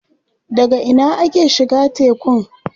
Daga ina ake shiga tekun?